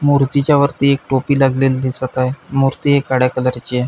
मूर्तीच्या वरती एक टोपी लागलेली दिसत आहे मूर्ती ही काळ्या कलर ची ए.